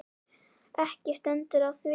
Ekki stendur á því.